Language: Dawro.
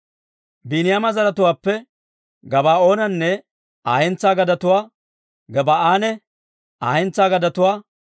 Biiniyaama zaratuwaappe Gabaa'oonanne Aa hentsaa gadetuwaa, Gebaa'anne Aa hentsaa gadetuwaa,